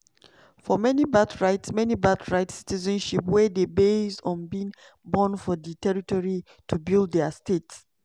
"for many birthright many birthright citizenship wey dey based on being born for di territory to build dia state.